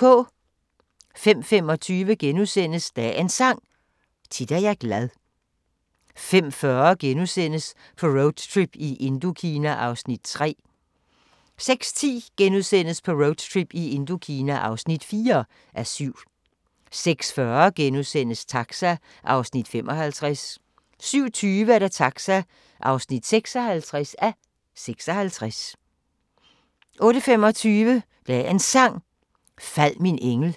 05:25: Dagens Sang: Tit er jeg glad * 05:40: På roadtrip i Indokina (3:7)* 06:10: På roadtrip i Indokina (4:7)* 06:40: Taxa (55:56)* 07:20: Taxa (56:56) 08:25: Dagens Sang: Fald min engel 08:35: